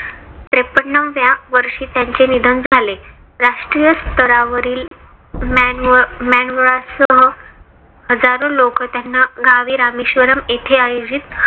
त्रेपन्नाव्या वर्षी त्यांचे निधन झाले. राष्ट्रीय स्तरावरील MAN MANWAR सह हजारो लोकं त्यांना गावी रामेश्वरम येथे आयोजित